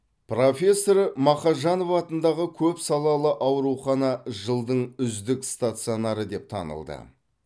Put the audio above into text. профессор мақажанов атындағы көпсалалы аурухана жылдың үздік стационары деп танылды